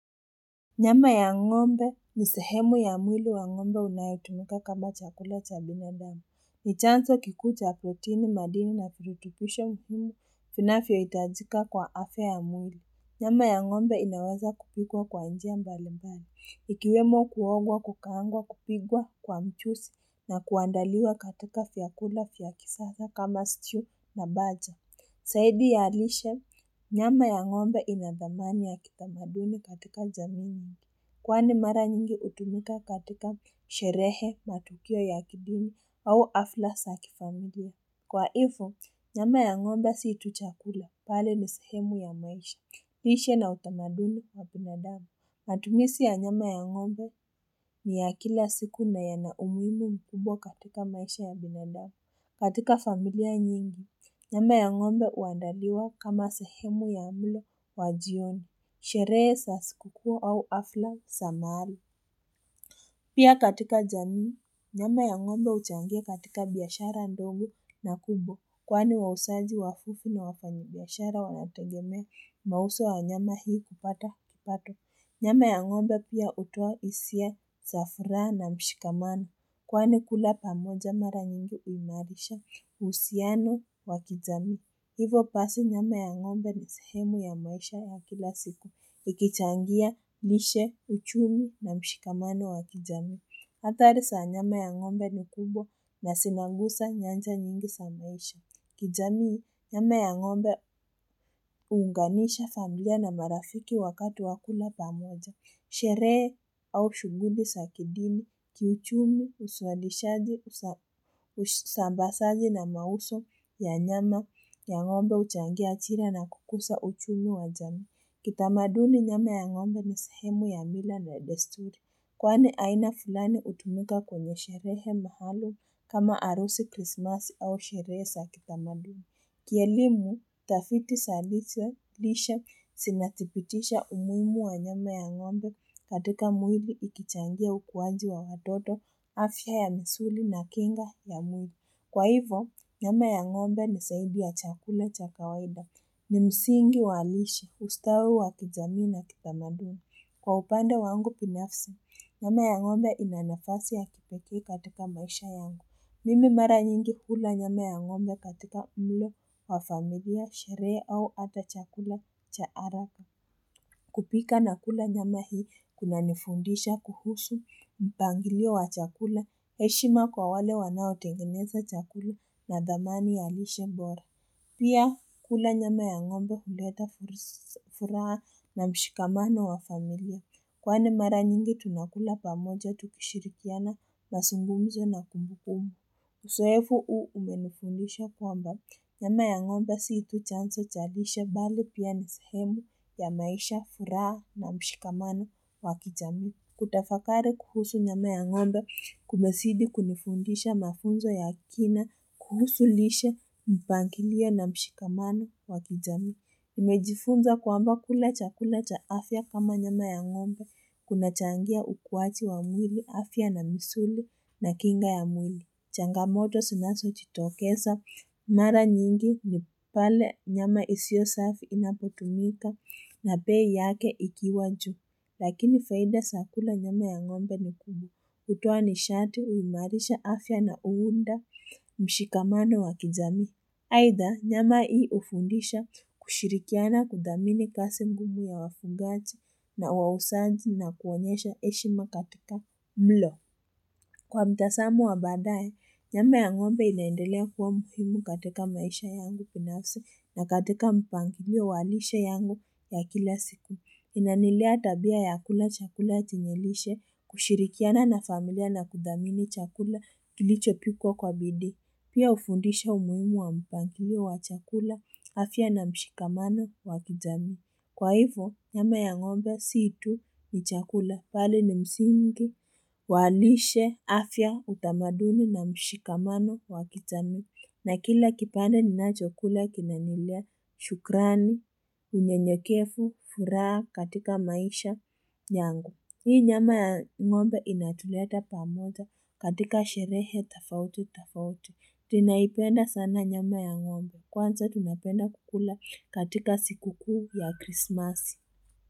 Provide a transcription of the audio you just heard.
Nyama ya ng'ombe ni sehemu ya mwili wa ng'ombe inayotumika kama chakula cha binadamu. Ni chanzo kikuu cha protini madini na virutubisho muhimu vinavyohitajika kwa afya ya mwili. Nyama ya ng'ombe inaweza kupikwa kwa njia mbalimbali. Ikiwemo kuogwa kukaangwa kupikwa kwa mchuzi na kuandaliwa katika vyakula vya kisasa kama stew na baja. Zaidi ya lishe, nyama ya ng'ombe ina dhamani ya kitamaduni katika zamini. Kwani mara nyingi hutumika katika sherehe matukio ya kidini au hafla za kifamilia. Kwa hivyo, nyama ya ng'ombe si tu chakula bali ni sehemu ya maisha. Lishe na utamaduni wa binadamu. Matumizi ya nyama ya ngombe ni ya kila siku na yana umuhimu mkubwa katika maisha ya binadamu katika familia nyingi. Nyama ya ng'ombe huandaliwa kama sehemu ya mlo wa jioni. Sherehe za siku kuu au hafla za mahari. Pia katika jamii, nyama ya ng'ombe huchangia katika biashara ndogo na kubwa. Kwani wauzaji wavivu na wafanyibiashara wanategemea mauzo ya nyama hii kupata kipato. Nyama ya ng'ombe pia hutoa hisia za furaha na mshikamano. Kwani kula pamoja mara nyingi huimarisha uhusiano wa kijamii. Hivyo basi nyama ya ng'ombe ni sehemu ya maisha ya, kila siku. Ikichangia, lishe, uchumi na mshikamano wa kijamii. Hatari za nyama ya ng'ombe ni kubwa na zinagusa nyanja nyingi za maisha. Kijamii, nyama ya ngombe hunganisha familia na marafiki wakati wa kula pamoja. Nyama ya ng'ombe ni sehemu ya mwili wa ng'ombe inayotumika kama chakula cha binadamu. Kitamaduni nyama ya ng'ombe ni sehemu ya mila na desturi. Kwani aina fulani hutumika kwenye sherehe maalum kama harusi krismasi au sherehe za kitamaduni. Kielimu tafiti za lishe zinathibitisha umuhimu wa nyama ya ng'ombe katika mwili ikichangia ukuaji wa watoto, afya ya misuli na kinga ya mwili. Kwa hivyo, nyama ya ng'ombe ni zaidi ya chakula cha kawaida. Ni msingi wa halisi, ustawi wa kijamii na kitamaduni. Kwa upande wangu binafsi, nyama ya ng'ombe ina nafasi ya kipekee katika maisha yangu. Mimi mara nyingi hula nyama ya ng'ombe katika mlo wa familia sherehe au hata chakula cha haraka kupika na kula nyama hii kunanifundisha kuhusu mpangilio wa chakula heshima kwa wale wanaotengeneza chakula na dhamani ya lishe bora Pia kula nyama ya ngombe huleta furaha na mshikamano wa familia kwani mara nyingi tunakula pamoja tukishirikiana mazungumzo na kumbukumbu Uzoefu huu umenifundisha kwamba nyama ya ng'ombe si tu chanzo cha lishe bali pia ni sehemu ya maisha furaha na mshikamano wa kijamii. Kutafakari kuhusu nyama ya ng'ombe kumezidi kunifundisha mafunzo ya kina kuhusu lishe mpangilio na mshikamano wa kijamii. Nimejifunza kwamba kula chakula cha afya kama nyama ya ng'ombe kunachangia ukuaji wa mwili afya na misuli na kinga ya mwili. Changamoto zinazojitokeza, mara nyingi ni pale nyama isiyo safi inapotumika na bei yake ikiwa juu. Lakini faida za kula nyama ya ng'ombe ni kubwa, hutoa nishati huimarisha afya na huunda mshikamano wa kijamii. Haidha nyama hii hufundisha kushirikiana kudhamini kazi ngumu ya wafugaji na wauzaji na kuonyesha heshima katika mlo. Kwa mtazamo wa baadaye, nyama ya ng'ombe inaendelea kuwa muhimu katika maisha yangu binafsi na katika mpangilio wa lishe yangu ya kila siku. Inanilea tabia ya kula chakula chenye lishe, kushirikiana na familia na kudhamini chakula kilichopikwa kwa bidii. Pia hufundisha umuhimu wa mpangilio wa chakula afya na mshikamano wa kijamii. Kwa hivyo, nyama ya ngombe si tu ni chakula bali ni msingi, wa lishe, afya, utamaduni na mshikamano wa kijamii. Na kila kipande ninachokula kinanilea, shukrani, unyenyekevu, furaha katika maisha nyangu. Hii nyama ya ng'ombe inatuleta pamoja katika sherehe tofauti tofauti. Tunaipenda sana nyama ya ng'ombe kwanza tunapenda kukula katika siku kuu ya krisimasi.